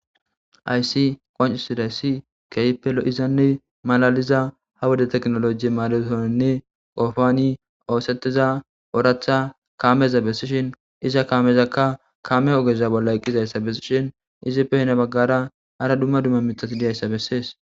aysi qoncisiday ssi keypelo izanne malaliza ha woda teknoloji maadutoninne qofani oosetiza oratha kaameza bessishin iza kaamezakka kame ogeza bolla eqqizayssa bessishin izippe hina baggara hara dumma dumma mitati diyayssa bessees